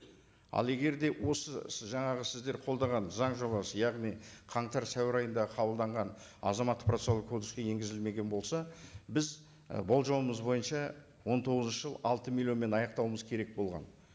ал егер де осы жаңағы сіздер қолдаған заң жобасы яғни қаңтар сәуір айында қабылданған азаматтық процессуалдық кодекске енгізілмеген болса біз і болжауымыз бойынша он тоғызыншы жылы алты миллионмен аяқтауымыз керек болған